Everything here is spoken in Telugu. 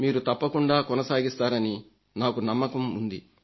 మీరు తప్పకుండా కొనసాగిస్తారని నాకు నమ్మకం ఉంది